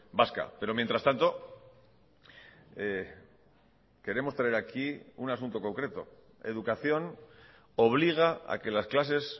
vasca pero mientras tanto queremos traer aquí un asunto concreto educación obliga a que las clases